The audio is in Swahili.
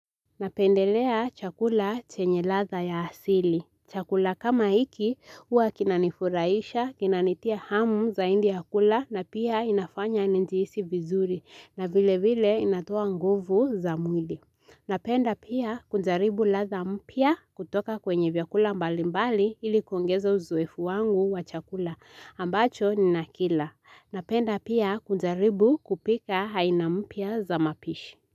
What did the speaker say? Napendelea chakula chenye radha ya asili. Chakula kama jiki huwa kinanifuraisha, kinanitia hamu zaidi ya kula na pia inafanya nijiisi vizuri na vile vile inatoa nguvu za mwili. Napenda pia kujaribu radha mpya kutoka kwenye vyakula mbali mbali ili kuongeza uzoefu wangu wa chakula ambacho ninakila. Napenda pia kujaribu kupika haina mpya za mapishi.